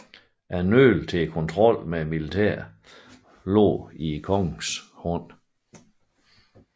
Nøglen til kontrollen med militæret lå i kongens hånd